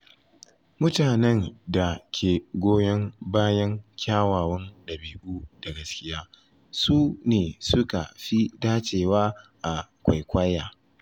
Mutanen da ke goyon bayan kyawawan dabi’u da gaskiya su ne suka fi dacewa a kwaikwayi.